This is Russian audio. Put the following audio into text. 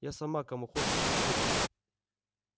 я сама кому хочешь отвыкну